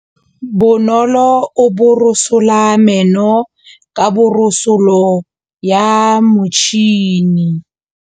Bonolô o borosola meno ka borosolo ya motšhine.